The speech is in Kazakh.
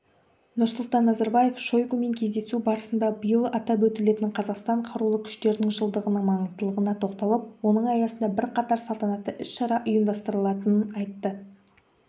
нұрсұлтан назарбаев шойгумен кездесу барысында биыл атап өтілетін қазақстан қарулы күштерінің жылдығының маңыздылығына тоқталып оның аясында бірқатар салтанатты іс-шара ұйымдастырылатынын айтты